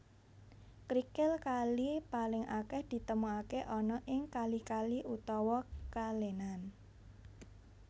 Krikil kali paling akeh ditemukake ana ing kali kali utawa kalenan